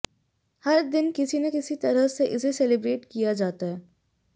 हर दिन किसी न किसी तरह से इसे सेलिब्रेट किया जाता है